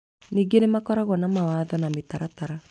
Ningĩ nĩmakoragwo na mawatho na mĩtaratara